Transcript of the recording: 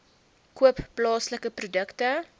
koop plaaslike produkte